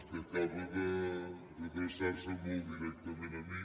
que acaba d’adreçar se molt directament a mi